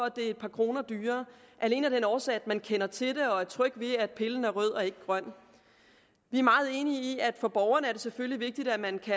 at det er et par kroner dyrere alene af den årsag at man kender til det og er tryg ved at pillen er rød og ikke grøn vi er meget enige i at for borgeren er det selvfølgelig vigtigt at man kan